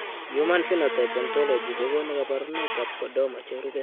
Human Phenotype Ontology kokonu kabarunoikab Chordoma cherube.